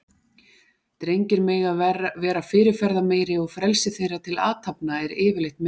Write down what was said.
Drengir megi vera fyrirferðameiri og frelsi þeirra til athafna er yfirleitt meira.